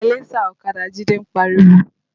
Salẹńsà ọ̀kadà Jide ń pariwo